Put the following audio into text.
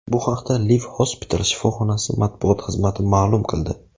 Bu haqda Liv Hospital shifoxonasi matbuot xizmati ma’lum qildi .